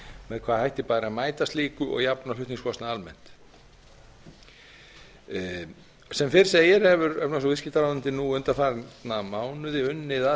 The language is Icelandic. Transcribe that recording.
með hvaða hætti bæri að mæta slíku og jafna flutningskostnað almennt sem fyrr segir hefur efnahags og viðskiptaráðuneytið nú undanfarna mánuði unnið að